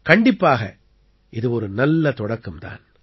கண்டிப்பாக இது ஒரு நல்ல தொடக்கம் தான்